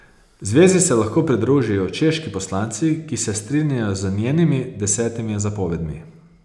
Zvezi se lahko pridružijo češki poslanci, ki se strinjajo z njenimi desetimi zapovedmi.